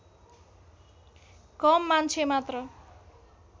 कम मान्छे मात्र